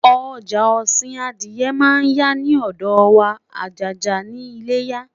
ọja osin Adiye man ya ni odo wa ajaja ni iléyá